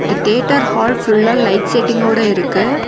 இந்த theatre hall ஃபுல்லா light செட்டிங்கோட இருக்கு.